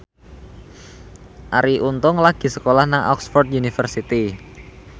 Arie Untung lagi sekolah nang Oxford university